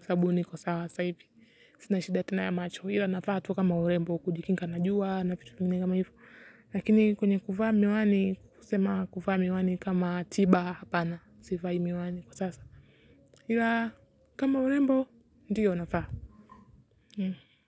sababu niko sawa sasa hivi, sina shida tena ya macho, ila navaa tu kama urembo, kujikinga na jua na vitu kama hivo. Lakini kwenye kuvaa miwani, kusema kuvaa miwani kama tiba hapana, sivai miwani kwa sasa. Ila kama urembo, ndio navaa.